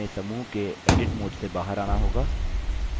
अतः हमें समूह के edit mode से बाहर आना होगा